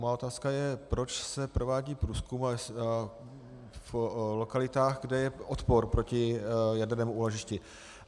Má otázka je, proč se provádí průzkum v lokalitách, kde je odpor proti jadernému úložišti.